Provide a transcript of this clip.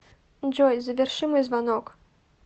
джой заверши мой звонок